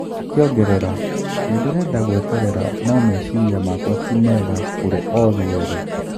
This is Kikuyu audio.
Akiongerera: Nindirenda gũeterera no meciria makwa ti mega kũri othe eri.